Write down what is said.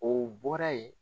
O bɔra yen.